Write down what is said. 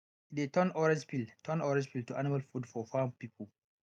e dey turn orange peel turn orange peel to animal food for farm people